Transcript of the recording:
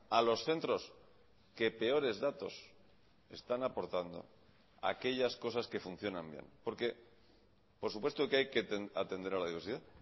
a los centros que peores datos están aportando a aquellas cosas que funcionan bien porque por supuesto que hay que atender a la diversidad